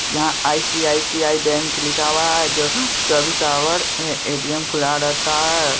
यहाँ ICICI bank लिखा हुआ है जो चोबीस आवर ए_टी_एम खुला रहता है।